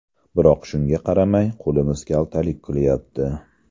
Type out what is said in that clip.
Biroq shunga qaramay qo‘limiz kaltalik qilyapti.